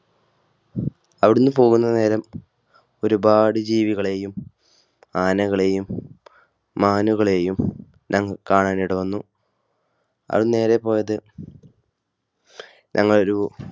അവിടുന്ന് പോകുന്ന നേരം ഒരുപാട് ജീവികളെയും ആനകളെയും മാനുകളെയും ഞങ്ങൾ കാണാൻ ഇട വന്നു. അവിടുന്ന് നേരെ പോയത് ഞങ്ങളെ ഒരു